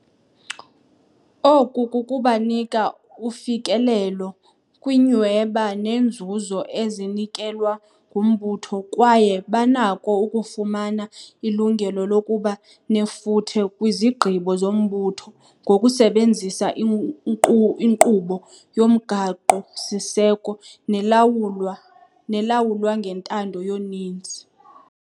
Oku kubanika ufikelelo kwiinyhweba neenzuzo ezinikelwa ngumbutho kwaye banako ukufumana ilungelo lokuba nefuthe kwizigqibo zombutho ngokusebenzisa inkqubo yomgaqo-siseko nelawulwa nelawulwa ngentando yoninzi.